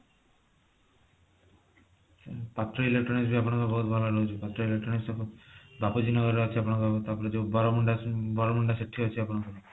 ହୁଁ ପାତ୍ର electronics ବି ଆପଣଙ୍କର ବହୁତ ଭଲ ରହୁଛି ପାତ୍ର electronics ବାପୁଜୀ ନଗର ରେ ଅଛି ଆପଣଙ୍କର ତାପରେ ଯୋଊ ବରମୁଣ୍ଡା ଅଛି ସେଠି ଅଛି ଆପଣଙ୍କର